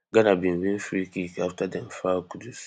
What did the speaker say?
ghana bin win freekick afta dem foul kudus